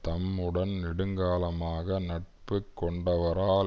தம்முடன் நெடுங்காலமாக நட்பு கொண்டவரால்